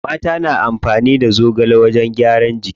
Mata na amfani da zogale wajen gyaran jiki.